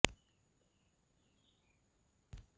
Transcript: Mairabari press ক্লাবৰ সভাপতি আৰু সম্পাদক শ্বৰিফুলে এক বিবৃতিত কয় যে